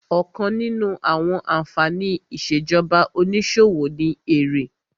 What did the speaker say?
Ọ̀kan nínú àwọn ànfàní ìṣèjọba onísòwò ni èrè